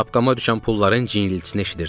Şapkama düşən pulların cingiltisini eşidirdim.